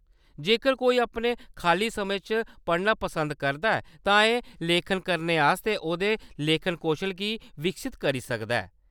जेकर कोई अपने खाल्ली समें च पढ़ना पसंद करदा ऐ, तां एह्‌‌ लेखक बनने आस्तै ओह्‌‌‌दे लेखन कौशल गी विकसत करी सकदा ऐ।